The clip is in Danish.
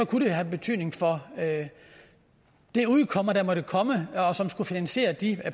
kunne det have betydning for det udkomme der måtte komme og som skulle finansiere de